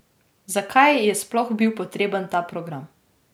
Zakaj je sploh bil potreben ta program?